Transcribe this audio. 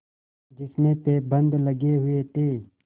जिसमें पैबंद लगे हुए थे